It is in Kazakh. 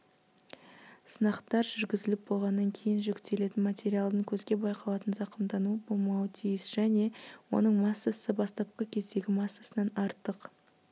сынақтар жүргізіліп болғаннан кейін жүктелетін материалдың көзге байқалатын зақымдануы болмауы тиіс және оның массасы бастапқы кездегі массасынан артық